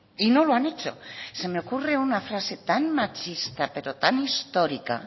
y no lo han hecho se me ocurre una frase tan machista pero tan histórica